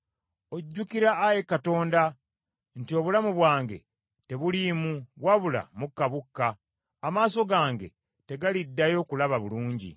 Ojjukira Ayi Katonda, nti obulamu bwange tebuliimu, wabula mukka bukka, amaaso gange tegaliddayo kulaba bulungi.